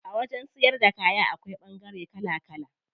A wajen siyar da kaya akwai ɓangare kala kala.